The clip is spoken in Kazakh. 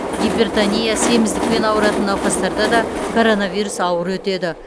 гипертония семіздікпен ауыратын науқастарда да коронавирус ауыр өтеді